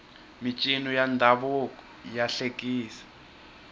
mincino ya ndhavuko ya hlekisa